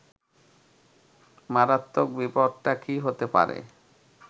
মারাত্মক বিপদটা কী হতে পারে